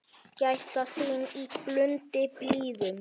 Gæta þín í blundi blíðum.